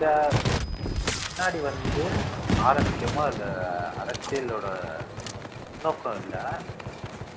தெரியல முன்னாடி வந்து ஆரம்பிக்கிறமோ அந்த அரசியலோட உள்நோக்கம் இல்ல